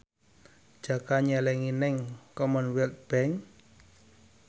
Jaka nyelengi nang Commonwealth Bank